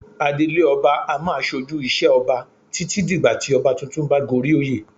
Adelé ọba a máa ṣojú ìṣe Ọba títí dìgbà tí ọba tuntun bá goríoyè.